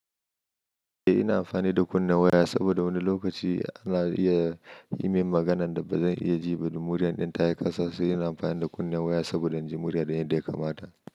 Eh, ina amfani da kunnen waya saboda wani lokaci ana iya yi min maganan da ba zan iya ji ba da murya ɗin ta yi ƙasa. Sai ina amfani da kunnen waya saboda in ji murya ɗin yadda ya kamata.